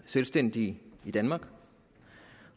selvstændige i danmark